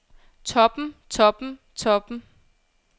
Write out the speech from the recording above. toppen toppen toppen